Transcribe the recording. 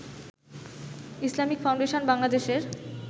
Islamic foundation বাংলাদেশের